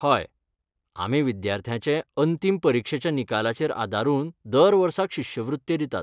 हय, आमी विद्यार्थ्याचे अंतीम परीक्षेच्या निकालाचेर आदारून दर वर्साक शिश्यवृत्त्यो दितात.